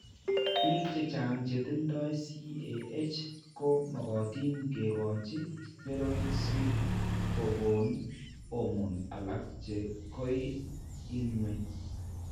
Biik chechang' che tindo CAH ko makatin ke kochi steroids si ko kone hormones alak che ko i ng'weny.